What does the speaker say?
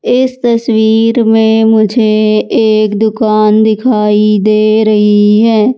इस तस्वीर में मुझे एक दुकान दिखाई दे रही है।